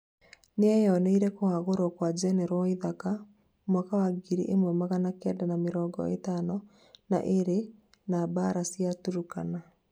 nĩeyoneire kũhagũrwo kwa njenerũ waithaka, mwaka wa ngiri ĩmwe magana Kenda ma mĩrongo ĩtano na ĩrĩ na mbara cia Turukana